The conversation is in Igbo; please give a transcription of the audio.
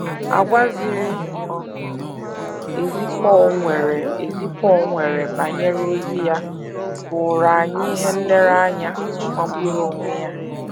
Àgwà ziri ezi Pọl nwere ezi Pọl nwere banyere ozi ya bụụrụ anyị ihe nlereanya magburu onwe ya.